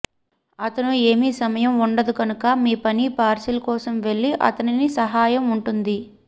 అతను ఏమి సమయం ఉండదు కనుక మీ పని పార్శిల్ కోసం వెళ్ళి అతనిని సహాయం ఉంటుంది